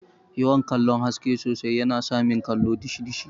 yawan kallon haske sosai yana samin kallo dishi dishi.